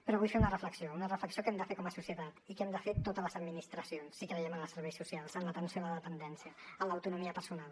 però vull fer una reflexió una reflexió que hem de fer com a societat i que hem de fer totes les administracions si creiem en els serveis socials en l’atenció a la dependència en l’autonomia personal